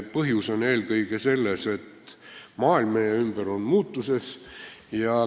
Põhjus on eelkõige selles, et maailm meie ümber on muutuses.